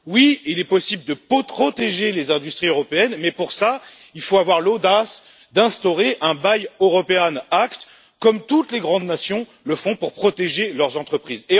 Oui, il est possible de protéger les industries européennes mais pour cela, il faut avoir l'audace d'instaurer un Buy European Act, comme toutes les grandes nations le font pour protéger leurs entreprises.